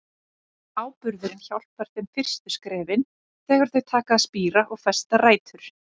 Áburðurinn hjálpar þeim fyrstu skrefin, þegar þau taka að spíra og festa rætur.